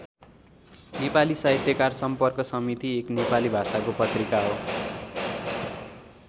नेपाली साहित्यकार सम्पर्क समिति एक नेपाली भाषाको पत्रिका हो।